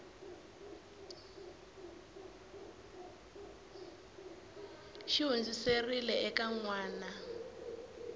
xi hundziserile eka n wana